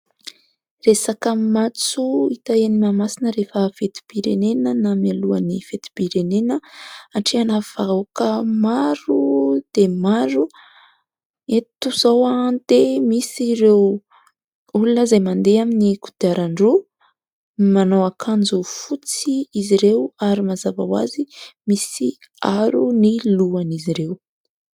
Resaka matso hita eny Mahamasina rehefa fetim-pirenena na mialohan'ny fetim-pirenena, hatrehana vahoaka maro dia maro. Eto izao dia misy ireo olona izay mandeha amin'ny kodiaran-droa, manao akanjo fotsy izy ireo, ary mazava ho azy misy aro ny lohan'izy ireo.